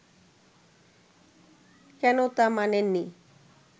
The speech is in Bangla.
কেন তা মানেন নি